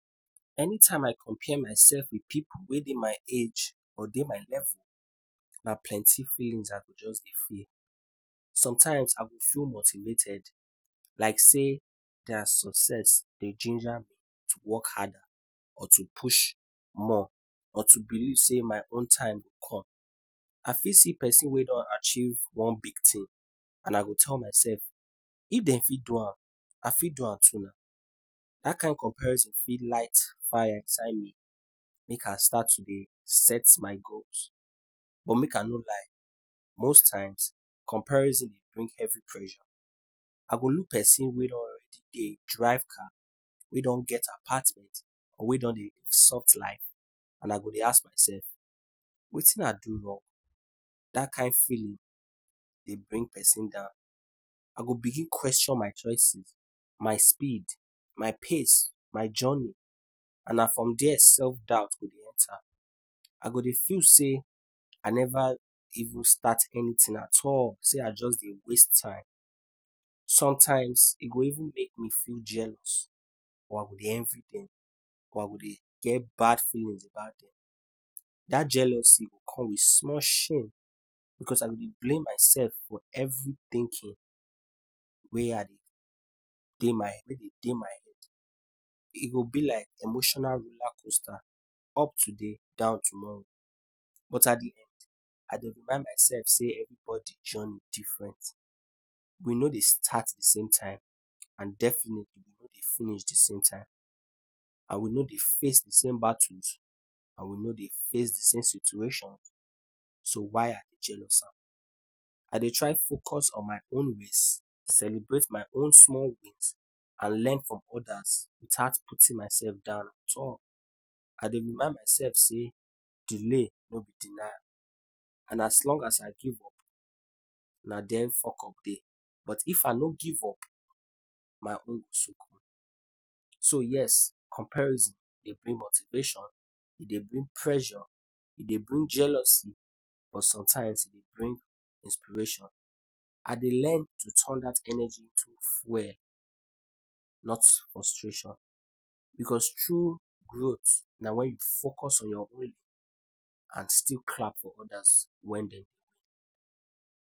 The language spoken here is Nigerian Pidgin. Anytime I compare myself with pipu wey dey my age or dey my level, na plenty feeling I go just dey feel. Sometimes, I go feel motivated, like say their success dey ginger me to work harder, or to push more, or to believe say my own time go come. I fit see pesin wey don achieve one big thing, and I go tell myself, if dem fit do am, I fit do am too na. Dat kain comparison fit light fire inside me, make I start to dey set my goals. But make I no lie, most times, comparison dey bring heavy pressure. I go look pesin wey don already dey drive car, wey don get apartment or wey don dey live soft life, and I go dey ask myself, wetin I do wrong? Dat kind feeling dey bring pesin down. I go begin question my choices, my speed, my pace, my journey and na from there self-doubt go dey enter. I go dey feel say I never even start anything at all, say I just dey waste time. Sometimes, e go even make me feel jealous. Or I go dey envy dem, or I go dey get bad feelings about dem. Dat jealousy go come with small shame, because I go dey blame myself for every thinking wey I dey dey my wey dey dey my head. E go be like emotional roller coaster up today, down tomorrow. But at the end, I dey remind myself say everybody journey different. We no dey start the same time. And definitely, we no dey finish the same time. And we no dey face the same battles, and we no dey face the same situation. So why I dey jealous am? I dey try focus on my own ways. Celebrate my own small wins. And learn from others without putting myself down at all. I dey remind myself say delay no be denial, and as long as I give up, na den fuck up dey. But if I no give up, my own. So yes, comparison dey bring motivation, e dey bring pressure, e dey bring jealousy but sometimes e dey bring inspiration. I dey learn to turn dat energy to fuel, not to frustration. Because true growth na when you focus on your own and still clap for others when dem win.